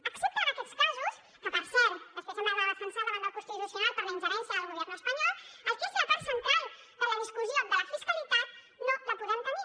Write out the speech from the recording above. excepte en aquests casos que per cert després hem d’anar a defensar davant del constitucional per la ingerència del gobierno espanyol el que és la part central de la discussió de la fiscalitat no la podem tenir